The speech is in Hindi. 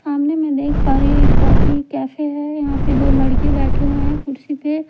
सामने मैं देख पा रही हूं एक कॉफी कैफी है यहां पे दो लड़के बैठे हुए हैं कुर्सी पे--